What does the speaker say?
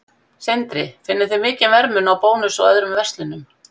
Sindri: Finnið þið mikinn verðmun á Bónus og öðrum verslunum?